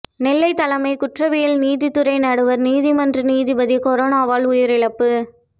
நெல்லை தலைமை குற்றவியல் நீதித்துறை நடுவர் நீதிமன்ற நீதிபதி கொரோனாவால் உயிரிழப்பு